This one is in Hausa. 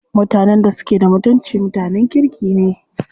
Mutanen da suke da mutunci mutanen kirki ne.